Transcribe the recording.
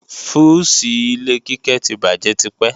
Fúùsì ilé Kíkẹ́ ti bàjé tipẹ́